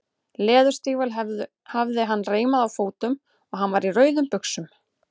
Leðurstígvél hafði hann reimuð á fótum og hann var í rauðum buxum.